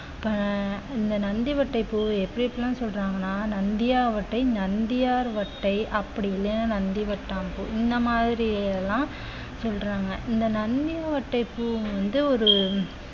இப்ப இந்த நந்திவட்டை பூ எப்படி எப்படியெல்லாம் சொல்றாங்கன்னா நந்தியா வட்டை நந்தியார் வட்டை அப்படி இல்லைன்னா நந்திவட்டாம்பூ இந்த மாதிரி எல்லாம் சொல்றாங்க இந்த நந்தி வட்டை பூ வந்து ஒரு